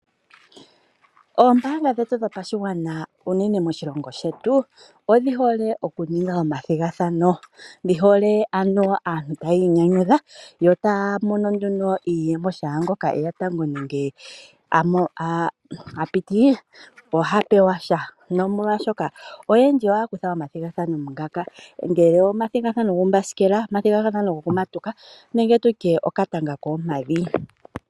Oombaanga dhetu dhopashigwana unene moshilongo shetu odhi hole okuninga omathigathano, dhi hole ano aantu tayi inyanyudha yo taya mono nduno iiyemo shaa ngoka eya tango nenge a piti, oha pewa sha nomolwaashoka oyendji ohaya kutha omathigathano ngaka, ongele omathigathano gombasikela, omathigathano gokumatuka nenge tutye okatanga kokoompadhi